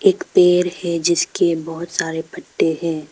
एक पेड़ है जिसके बहुत सारे पत्ते हैं।